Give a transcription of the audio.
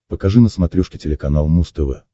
покажи на смотрешке телеканал муз тв